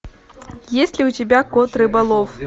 есть ли у тебя кот рыболов